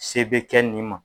Se bɛ kɛ nin ma